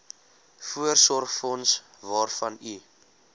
voorsorgsfonds waarvan u